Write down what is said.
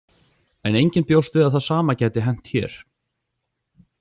En enginn bjóst við að það sama gæti hent hér.